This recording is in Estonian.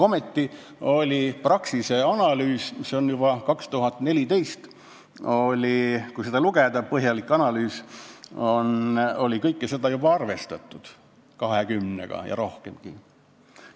Ometi oli Praxisel põhjalik analüüs, juba aastast 2014, kus kõike seda oli juba arvestatud, 20 eurot ja rohkemgi.